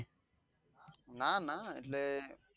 ના ના એટલે